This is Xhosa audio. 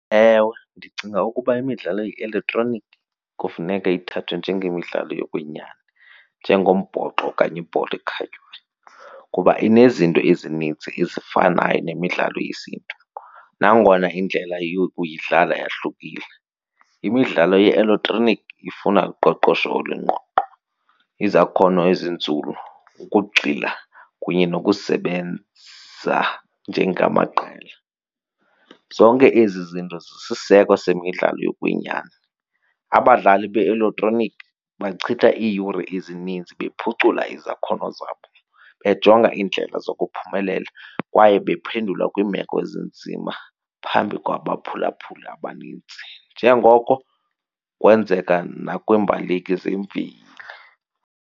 Ewe, ndicinga ukuba imidlalo ye-elektroniki kufuneka ithathwe njengemidlalo yokwenyani njengombhoxo okanye ibhola ekhatywayo kuba inezinto ezinintsi ezifanayo nemidlalo yesiNtu. Nangona indlela yokuyidlala yahlukile imidlalo ye-elektroniki ifuna uqoqosho olungqongqo, izakhono ezinzulu, ukugxila kunye nokusebenza njengamaqela. Zonke ezi zinto zisisiseko semidlalo yokwenyani. Abadlali be-eletroniki bachitha iiyure ezininzi bephucule izakhono zabo bejonga iindlela zokuphumelela kwaye baphendula kwiimeko ezinzima phambi kwabaphulaphuli abanintsi njengoko kwenzeka nakwiimbaleki zemveli.